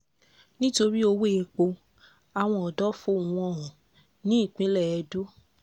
nítorí owó-èpò àwọn ọ̀dọ́ fohùn wọn hàn nípínlẹ̀ edo